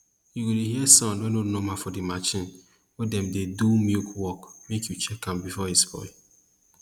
u go dey hear sound wey nor normal for de marchin wey dem dey do milk work make you check am before e spoil